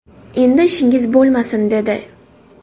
Endi ishingiz bo‘lmasin, dedi.